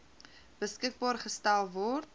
beskikbaar gestel word